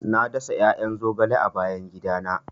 Na dasa 'ya'yan zogale a bayan gidana.